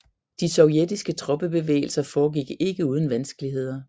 De sovjetiske troppebevægelser foregik ikke uden vanskeligheder